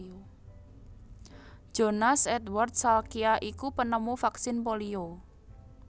Jonas Edward Salkya iku penemu vaksin polio